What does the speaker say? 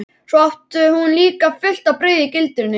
Svo át hún líka fullt af brauði í gildrunni.